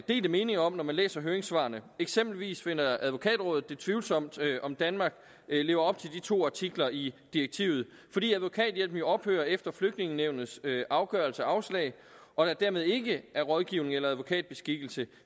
delte meninger om når man læser høringssvarene eksempelvis finder advokatrådet det tvivlsomt om danmark lever op til de to artikler i direktivet fordi advokathjælpen jo ophører efter flygtningenævnets afgørelse og afslag og der dermed ikke er rådgivning eller advokatbeskikkelse